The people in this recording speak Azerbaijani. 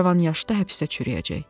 Cavan yaşda həbsdə çürüyəcək.